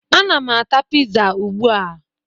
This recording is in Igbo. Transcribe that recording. Ana m ata piza ugbu a.